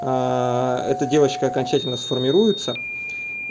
эта девочка окончательно сформируется